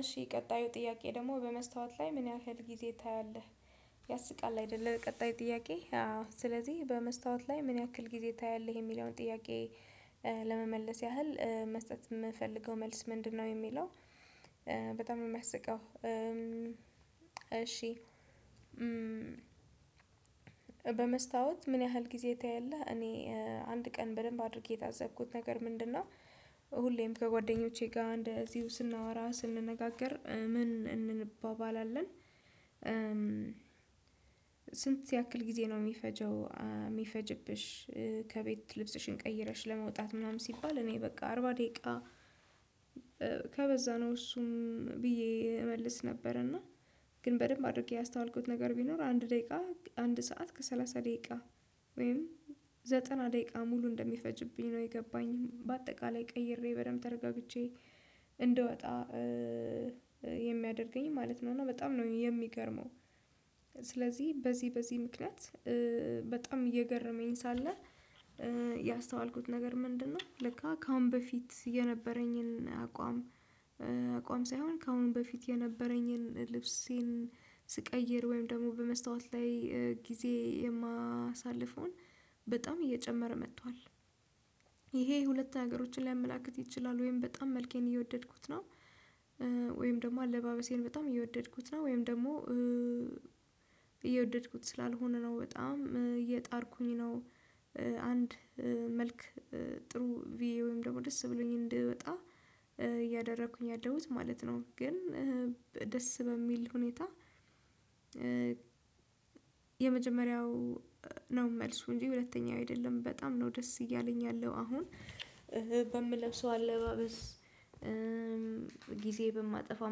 እሺ ቀጣዩ ጥያቄ ደግሞ በመስታወት ላይ ምን ያህል ጊዜ ታያለህ? ያስቃል አይደለ ቀጣይ ጥያቄ አዎ ስለዚህ በመስታወት ላይ ምን ያክል ጊዜ ታያለህ የሚለውን ጥያቄ ለመመለስ ያህል መስጠት ምፈልገው መልስ ምንድነው የሚለው በጣም ሚያስቀው እሺ በመስታወት ምን ያህል ጊዜ ታያለህ? እኔ አንድ ቀን በደንብ አድርጌ የታዘብኩት ነገር ምንድነው ሁሌም ከጓደኞቼ ጋር እንደዚሁ ስናወራ ስንነጋገር ምን እንንባባለን ስንት ያክል ጊዜ ነው ሚፈጀው? ሚፈጅብሽ? ከቤት ልብስሽን ቀይረሽ ለመውጣት ምናምን ሲባል እኔ በቃ አርባ ደቂቃ ከበዛ ነው እሱም ብዬ እመልስ ነበር እና ግን በደንብ አድርጌ ያስተዋልኩት ነገር ቢኖር አንድ ደቂቃ አንድ ሰዓት ከሰላሳ ደቂቃ ወይም ዘጠና ደቂቃ ሙሉ እንደሚፈጅብኝ ነው የገባኝ በአጠቃላይ ቀይሬ በደንብ ተረጋግቼ እንድወጣ የሚያደርገኝ ማለት ነው። እና በጣም ነው የሚገርመው ስለዚህ በዚህ በዚህ ምክንያት በጣም እየገረመኝ ሳለ ያስተዋልኩት ነገር ምንድነው ለካ ከአሁን በፊት የነበረኝን አቋም አቋም ሳይሆን ከአሁን በፊት የነበረኝን ልብሴን ስቀይር ወይም ደግሞ በመስታወት ላይ ጊዜ የማሳልፈውን በጣም እየጨመረ መጥቷል ይሄ ሁለት ነገሮችን ሊያመላክት ይችላል ወይም በጣም መልኬን እየወደድኩት ነው ወይም ደግሞ አለባበሴን በጣም እየወደድኩት ነው ወይም ደግሞ እየወደድኩት ስላልሆነ ነው በጣም እየጣርኩኝ ነው አንድ መልክ ጥሩ ብዬ ወይም ደግሞ ደስ ብሎኝ እንድወጣ እያደረኩኝ ያለሁት ማለት ነው። ግን ደስ በሚል ሁኔታ የመጀመሪያው ነው መልሱ እንጂ ሁለተኛው አይደለም በጣም ነው ደስ እያለኝ ያለው አሁን በምለብሰው አለባበስ ጊዜ በማጠፋው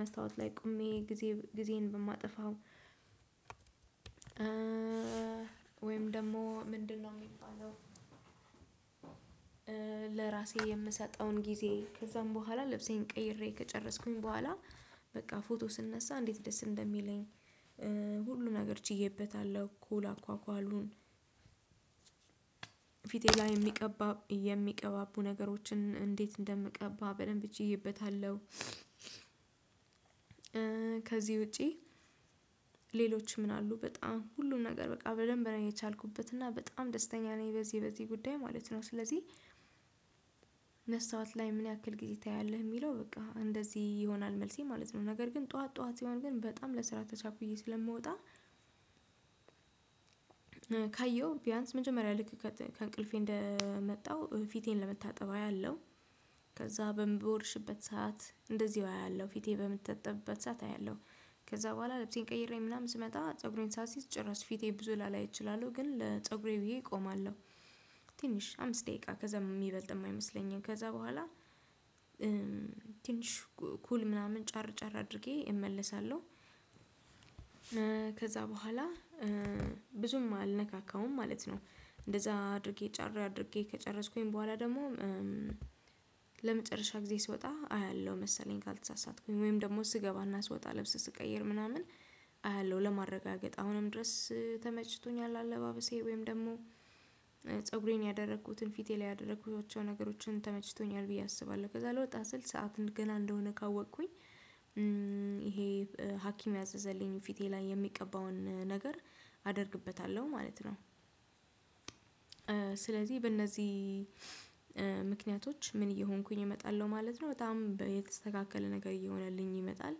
መስታወት ላይ ቆሜ ጊዜ ጊዜን በማጠፋው ወይም ደግሞ ምንድነው የሚባለው? ለራሴ የምሰጠውን ጊዜ ከዛም በኋላ ለብሴን ቀይሬ ከጨረስኩኝ በኋላ በቃ ፎቶ ስነሳ እንዴት ደስ እንደሚለኝ ሁሉን ነገር ችዬበታለሁ ኩል አኳኳሉን ፊቴ ላይ ሚቀባ የሚቀባቡ ነገሮችን እንዴት እንደምቀባ በደንብ ችዬበታለሁ ከዚህ ውጪ ሌሎች ምን አሉ በጣም ሁሉም ነገር በቃ በደንብ ነው የቻልኩበት እና በጣም ደስተኛ ነኝ በዚህ በዚህ ጉዳይ ማለት ነው ስለዚህ መስታወት ላይ ምን ያክል ጊዜ ታያለህ የሚለው በቃ እንደዚህ ይሆናል መልሴ ማለት ነው። ነገር ግን ጠዋት ጠዋት ሲሆን ግን በጣም ለስራ ተቻኩዬ ስለምወጣ ካየው ቢያንስ መጀመሪያ ልክ ከእንቅልፌ እንደመጣሁ ፊቴን ለመታጠብ አያለሁ ከዛ በምቦርሽበት ሰዓት እንደዚሁ አያለሁ ፊቴ በምትጠጣበት ሰዓት አያለሁ ከዛ በኋላ ልብሴን ቀይሬ ምናምን ስመጣ ፀጉሬን ሳሲዝ ጭራሽ ፊቴ ብዙ ላላይ እችላለሁ ግን ለፀጉሬ ብዬ እቆማለሁ። ትንሽ አምስት ደቂቃ ከዛ ሚበልጥም አይመስለኝም ከዛ በኋላ ትንሽ ኩል ምናምን ጫር ጫር አድርጌ እመለሳለሁ። ከዛ በኋላ ብዙም አልነካካውም ማለት ነው። እንደዛ አድርጌ ጫር አድርጌ ከጨረስኩኝ በኋላ ደግሞ ለመጨረሻ ጊዜ ስወጣ አያለሁ መሰለኝ ካልተሳሳትኩኝ ወይም ደግሞ ስገባና ስወጣ ልብስ ስቀይር ምናምን አያለሁ ለማረጋገጥ አሁንም ድረስ ተመችቶኛል አለባበሴ ወይም ደግሞ ፀጉሬን ያደረኩትን ፊቴ ላይ ያደረኩትን ነገሮችን ተመችቶኛል ብዬ አስባለሁ ከዛ ልወጣ ስል ሰዓት ገና እንደሆነ ካወቅኩኝ ይሄ ሀኪም ያዘዘልኝ ፊቴ ላይ የሚቀባውን ነገር አደርግበታለሁ ማለት ነው። ስለዚህ በእነዚህ ምክንያቶች ምን እየሆንኩኝ እመጣለሁ ማለት ነው? በጣም የተስተካከለ ነገር እየሆነልኝ ይመጣል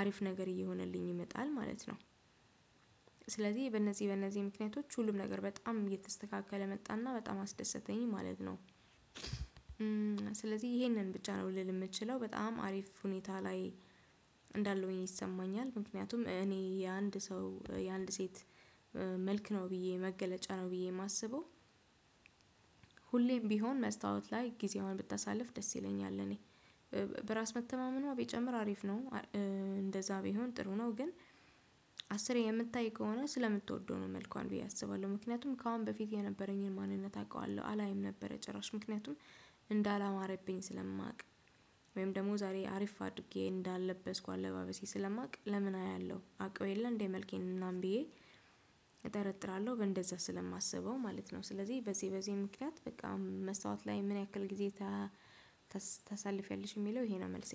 አሪፍ ነገር እየሆነልኝ ይመጣል ማለት ነው። ስለዚህ በእነዚህ በእነዚህ ምክንያቶች ሁሉም ነገር በጣም እየተስተካከለ መጣና በጣም አስደሰተኝ ማለት ነው። ስለዚህ ይሄንን ብቻ ነው ልል ምችለው። በጣም አሪፍ ሁኔታ ላይ እንዳለውኝ ይሰማኛል። ምክንያቱም እኔ የአንድ ሰው የአንድ ሴት መልክ ነው ብዬ መገለጫ ነው ብዬ ማስበው ሁሌም ቢሆን መስታወት ላይ ጊዜዋን ብታሳልፍ ደስ ይለኛል እኔ በራስ መተማመኗ ቢጨምር አሪፍ ነው እንደዛ ቢሆን ጥሩ ነው ግን አስር የምታይ ከሆነ ስለምትወደው ነው መልኳን ብዬ አስባለሁ። ምክንያቱም ከአሁን በፊት የነበረኝን ማንነት አውቃለሁ አላይም ነበረ ጭራሽ ምክንያቱም እንዳላማረብኝ ስለማውቅ ወይም ደግሞ ዛሬ አሪፍ አድርጌ እንዳለበስኩ አለባበሴ ስለማውቅ ለምን አያለሁ አውቀው የለም እንዴ መልኬን ምናምን ብዬ እጠራጠራለሁ እንደዛ ስለማስበው ማለት ነው ስለዚህ በዚህ በዚህ ምክንያት በጣም መስታወት ላይ ምን ያክል ጊዜ ታሳልፊያለሽ? ሚለው ይሄ ነው መልሴ።